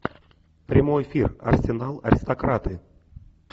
прямой эфир арсенал аристократы